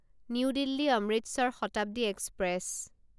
new Delhi Amritsar Shatabdi express